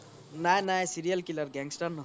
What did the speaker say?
নাই নাই serial killer gangster নহয়